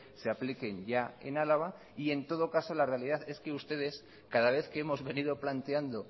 se apliquen ya en álava y en todo caso la realidad es que ustedes cada vez que hemos venido planteando